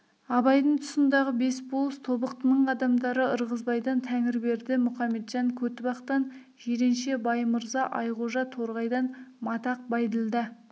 абайдың тұсындағы бес болыс тобықтының адамдары ырғызбайдан тәңірберді мұхаметжан көтібақтан жиренше баймырза айғожа торғайдан матақ байділда